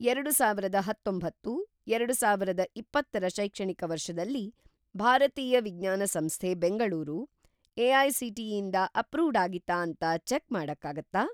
ಎರಡುಸಾವಿರದ ಹತ್ತೊಂಬತ್ತು - ಎರಡುಸಾವಿರದ ಇಪ್ಪತ್ತ ರ ಶೈಕ್ಷಣಿಕ ವರ್ಷದಲ್ಲಿ, ಭಾರತೀಯ ವಿಜ್ಞಾನ ಸಂಸ್ಥೆ ಬೆಂಗಳೂರು ಎ.ಐ.ಸಿ.ಟಿ.ಇ. ಇಂದ ಅಪ್ರೂವ್ಡ್‌ ಆಗಿತ್ತಾ ಅಂತ ಚೆಕ್‌ ಮಾಡಕ್ಕಾಗತ್ತಾ?